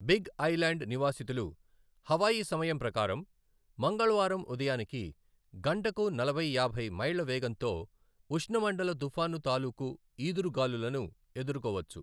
Big Island నివాసితులు Hawaii సమయం ప్రకారం మంగళవారం ఉదయానికి గంటకు నలభై యాభై మైళ్ళ వేగంతో ఉష్ణమండల తుఫాను తాలూకు ఈదురు గాలులను ఎదుర్కోవచ్చు.